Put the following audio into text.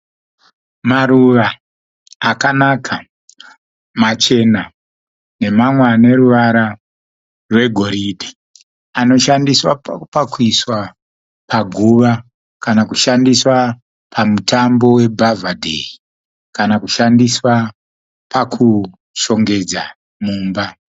Maruva akanaka machena nemamwe aneruvara rwegoridhe. Anoshandiswa pakuiswa paguva kana kushandiswa pamitambo yebhavhadheyi kana kushandiswa pakushongedza mumba.